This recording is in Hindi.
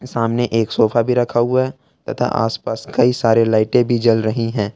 सामने एक सोफा भी रखा हुआ है तथा आस पास कई सारे लाइटें भी जल रही हैं।